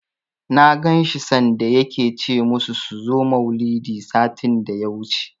Na ganshi sanda yake ce musu su zo maulidi, satin daya wuce